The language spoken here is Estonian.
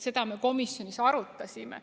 Seda me komisjonis arutasime.